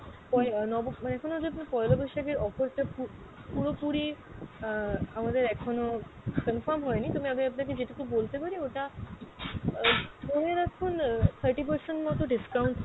এখনও যদি পইলা বৈশাখের offer টা পু~ পুরোপুরি আহ আমাদের এখনও confirm হয়নি, তবে আমি আপনাকে যেটুকু বলতে পারি ওটা আহ ধরে রাখুন আহ thirty percent মত discount হবে,